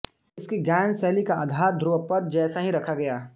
इसकी गायन शैली का आधार ध्रुवपद जैसा ही रखा गया